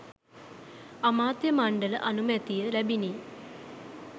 අමාත්‍ය මණ්ඩල අනුමැතිය ලැබිණි